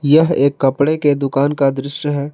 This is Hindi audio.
यह एक कपड़े के दुकान का दृश्य है।